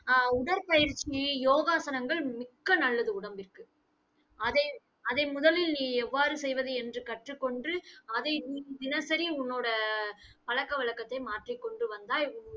ஆஹ் உடற்பயிற்சி, யோகாசனங்கள் மிக்க நல்லது உடம்பிற்கு. அதை, அதை முதலில் நீ எவ்வாறு செய்வது என்று கற்றுக் கொண்டு அதை உ~ தினசரி உன்னோட பழக்கவழக்கத்தை மாற்றிக்கொண்டு வந்தாய்